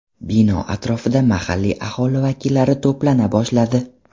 Bino atrofida mahalliy aholi vakillari to‘plana boshladi.